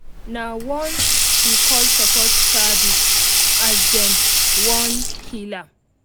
nah once she call support service as them wan kill am